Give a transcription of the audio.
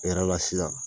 E yɛrɛ la sisan